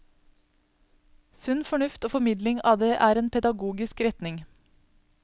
Sunn fornuft og formidling av det er en pedagogisk retning.